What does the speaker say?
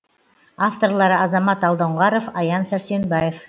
авторлары азамат алдоңғаров аян сәрсенбаев